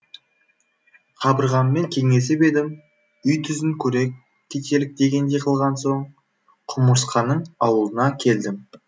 қабырғаммен кеңесіп едім үй түзін көре кетелік дегендей қылған соң құмырсқаның аулына келдім